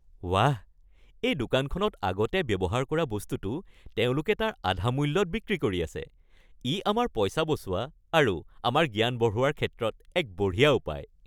ৱাহ! এই দোকানখনত আগতে ব্যৱহাৰ কৰা বস্তুটো তেওঁলোকে তাৰ আধা মূল্যত বিক্ৰী কৰি আছে। ই আমাৰ পইচা বচোৱা আৰু আমাৰ জ্ঞান বঢ়োৱাৰ ক্ষেত্ৰত এক বঢ়িয়া উপায়।